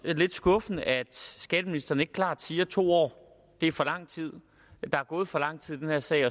er lidt skuffende at skatteministeren ikke klart siger at to år er for lang tid at der er gået for lang tid i den her sag